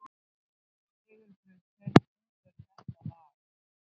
Sigurbjört, hver syngur þetta lag?